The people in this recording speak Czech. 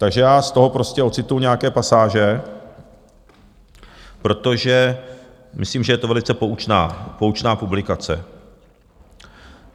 Takže já z toho prostě ocituji nějaké pasáže, protože myslím, že je to velice poučná publikace.